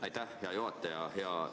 Aitäh, hea juhataja!